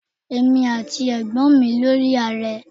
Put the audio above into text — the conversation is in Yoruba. Èmi àti ẹ̀gbọ́n mi lọ rí Ààrẹ.